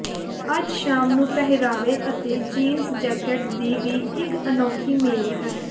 ਅੱਜ ਸ਼ਾਮ ਨੂੰ ਪਹਿਰਾਵੇ ਅਤੇ ਜੀਨਸ ਜੈਕੇਟ ਦੀ ਵੀ ਇਕ ਅਨੋਖੀ ਮੇਲ ਹੈ